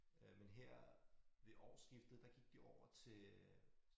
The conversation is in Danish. Øh men her ved årsskiftet der gik de over til øh